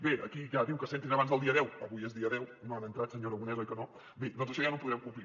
bé aquí ja diu que s’entrin abans del dia deu avui és dia deu no han entrat senyor aragonés oi que no bé doncs això ja no ho podem complir